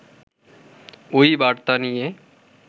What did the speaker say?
ওই বার্তা নিয়ে